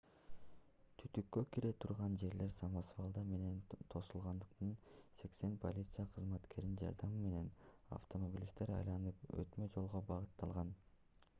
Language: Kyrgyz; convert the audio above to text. түтүккө кире турган жерлер самосвалдар менен тосулгандыктан 80 полиция кызматкеринин жардамы менен автомобилисттер айланып өтмө жолго багытталган